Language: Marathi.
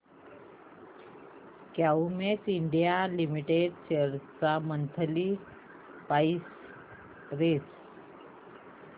क्युमिंस इंडिया लिमिटेड शेअर्स ची मंथली प्राइस रेंज